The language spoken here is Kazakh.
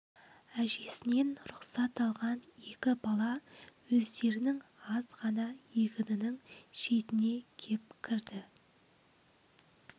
әжесінен рұқсат алған екі бала өздерінің аз ғана егінінің шетіне кеп кірді